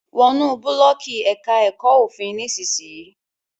Wọnú Búlọ̀ọ́ọ̀kì èka èko òfin nísìsiyìí!